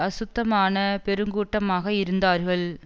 அசுத்தமான பெருங்கூட்டமாக இருந்தார்கள்